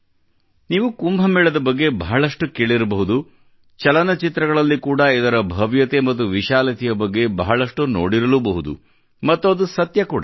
ನೀವು ಕುಂಭ ಮೇಳದ ಬಗ್ಗೆ ಬಹಳಷ್ಟು ಕೇಳಿರಬಹುದು ಚಲನಚಿತ್ರಗಳಲ್ಲಿ ಕೂಡ ಇದರ ಭವ್ಯತೆ ಮತ್ತು ವಿಶಾಲತೆಯ ಬಗ್ಗೆ ಬಹಳಷ್ಟು ನೋಡಿರಲೂ ಬಹುದು ಮತ್ತು ಅದು ಸತ್ಯ ಕೂಡ